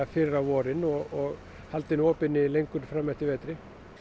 fyrr á vorin og halda henni opinni lengur fram eftir vetri